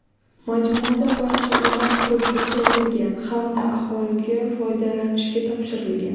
Majmuada barcha uylar qurib bitkazilgan hamda aholiga foydalanishga topshirilgan.